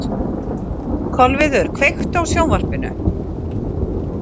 Kolviður, kveiktu á sjónvarpinu.